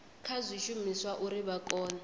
kha zwishumiswa uri vha kone